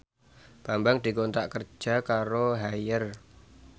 Bambang dikontrak kerja karo Haier